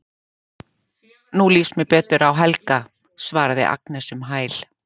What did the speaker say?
Mér líst nú betur á Helga, svarar Agnes um hæl.